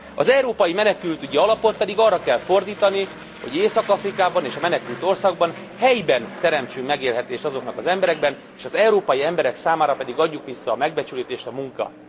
Az Európai Menekültügyi Alapot pedig arra kell fordítani, hogy Észak Afrikában és a menekült országokban helyben teremtsünk megélhetést azoknak az embereknek, és az európai emberek számára pedig adjuk vissza a megbecsülést, a munkát!